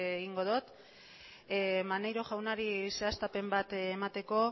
egingo dot maneiro jaunari zehaztapen bat emateko